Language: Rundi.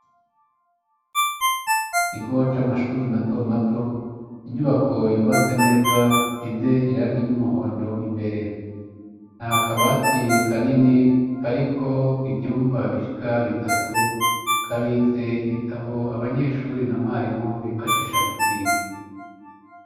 Ikigo c'amashuri mato mato, inyubako yubatse neza, isize irangi ry'umuhondo imbere. Nta kabati kanini kariko ivyumba bishika bitatu, kabitse ibitabo abanyeshuri na mwarimu bifashisha mu kwiga.